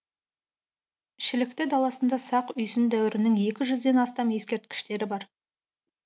шілікті даласында сақ үйсін дәуірінің екі жүзден астам ескерткіштері бар